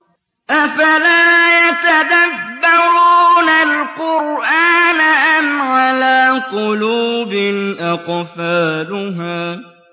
أَفَلَا يَتَدَبَّرُونَ الْقُرْآنَ أَمْ عَلَىٰ قُلُوبٍ أَقْفَالُهَا